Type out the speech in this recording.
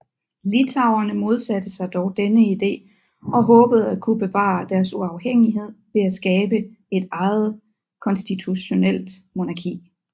Litauerne modsatte sig dog denne idé og håbede at kunne bevare deres uafhængighed ved at skabe et eget konstitutionelt monarki